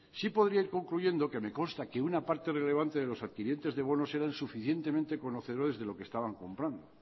sí podría ir concluyendo que me consta que una parte relevante de los adquirientes de bonos eran suficientemente conocedores de lo que estaban comprando